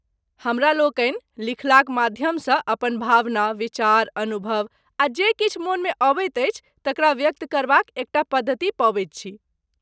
हमरा लोकनि लिखलाक माध्यमसँ अपन भावना, विचार, अनुभव आ जे किछु मोनमे अबैत अछि तकरा व्यक्त करबाक एकटा पद्धति पबैत छी।